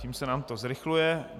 Tím se nám to zrychluje.